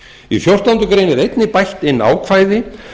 í fjórtándu grein er einnig bætt inn ákvæði